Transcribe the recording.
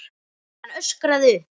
Hann öskraði upp.